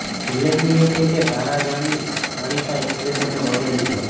ઉલ્લેખનીય છે કે ધારા જાની જાણીતા એક્ટ્રેસ અને મોડેલ છે